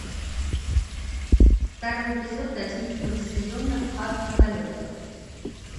второй эпизод одиннадцатого сезона ад на колесах